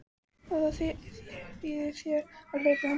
Og ekki þýðir þér að hlaupa undan.